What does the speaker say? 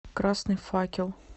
красный факел